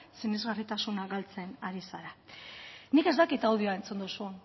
sinesgarritasuna galtzen ari zara nik ez dakit audioa entzun duzun